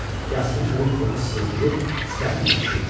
Yastı, kürk burnu sızıldayır, sifəti gicişirdi.